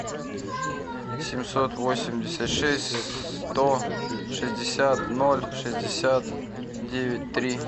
семьсот восемьдесят шесть сто шестьдесят ноль шестьдесят девять три